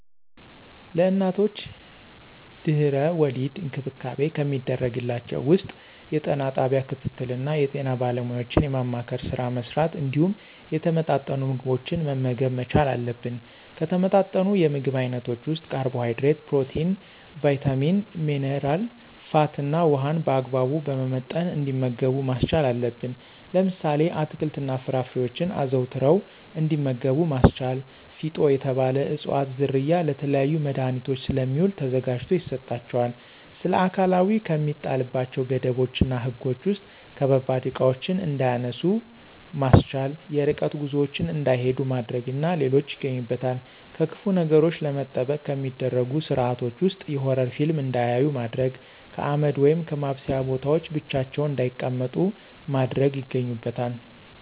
ለእናቶች ድህና-ወሊድ እንክብካቤ ከሚደረግላቸው ውስጥ የጤና ጣቢያ ክትትል እና የጤና ባለሙያዎችን የማማከር ስራ መሥራት እንዲሁም የተመጣጠኑ ምግቦችን መመገብ መቻል አለብን። ከተመጣጠኑ የምግብ አይነቶች ውስጥ ካርቦሀይድሬት፣ ፕሮቲን፣ ቭይታሚን፣ ሜነራ፣ ፋት እና ውሀን በአግባቡ በመመጠን እንዲመገቡ ማስቻል አለብን። ለምሳሌ፦ አትክልት እና ፍራፍሬዎችን አዘውትረው እንዲመገቡ ማስቻል። ፊጦ የተባለ እፅዋት ዝርያ ለተለያዩ መድሀኒቶች ስለሚውል ተዘጋጅቶ ይሰጣቸዋል። ስለአካላዊ ከሚጣልባቸው ገደቦች እና ህጎች ውስጥ ከባባድ እቃዎችን እንዳያነሱ ማስቻል፣ የርቀት ጉዞዎችን እንዳይሂዱ ማድረግ እና ሌሎች ይገኙበታል። ከክፉ ነገሮች ለመጠበቅ ከሚደረጉ ስርአቶች ውስጥ የሆረር ፊልም እንዳያዩ ማድረግ፣ ከአመድ ወይም ከማብሰያ ቦታዎች ብቻቸውን እንዳይቀመጡ ማድረግ ይገኙበታል።